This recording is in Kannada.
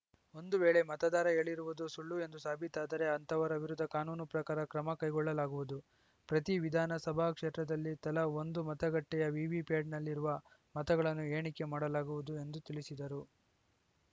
ಒಂದು ವೇಳೆ ಮತದಾರ ಹೇಳಿರುವುದು ಸುಳ್ಳು ಎಂದು ಸಾಬೀತಾದರೆ ಅಂತವರ ವಿರುದ್ಧ ಕಾನೂನು ಪ್ರಕಾರ ಕ್ರಮ ಕೈಗೊಳ್ಳಲಾಗುವುದು ಪ್ರತಿ ವಿಧಾನಸಭಾ ಕ್ಷೇತ್ರದಲ್ಲಿ ತಲಾ ಒಂದು ಮತಗಟ್ಟೆಯ ವಿವಿಪ್ಯಾಟ್‌ನಲ್ಲಿರುವ ಮತಗಳನ್ನು ಎಣಿಕೆ ಮಾಡಲಾಗುವುದು ಎಂದು ತಿಳಿಸಿದರು